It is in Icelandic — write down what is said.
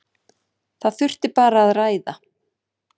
Það þurfi bara að ræða.